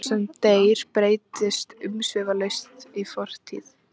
Sá sem deyr breytist umsvifalaust í fortíð.